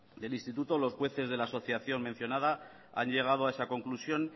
del instituto los jueces de la asociación mencionada han llegado a esa conclusión